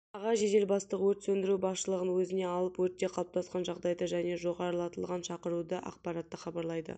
аға жедел бастық өрт сөндіру басшылығын өзіне алып өртте қалыптасқан жағдайды және жоғарылатылған шақыруды ақпаратты хабарлайды